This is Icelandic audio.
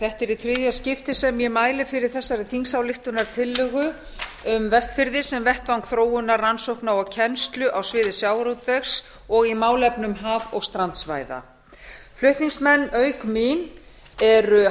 þetta er í þriðja skipti sem ég mæli fyrir þessari þingsályktunartillögu um vestfirði sem vettvang þróunar rannsókna og kennslu á sviði sjávarútvegs og í málefnum haf og strandsvæða flutningsmenn auk mín eru